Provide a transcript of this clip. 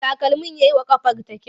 Takalmin ya yi wa ƙafarta kyau.